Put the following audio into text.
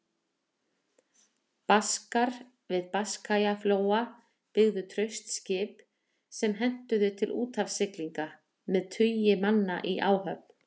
Baskar við Biskajaflóa byggðu traust skip sem hentuðu til úthafssiglinga, með tugi manna í áhöfn.